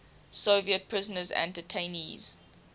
soviet prisoners and detainees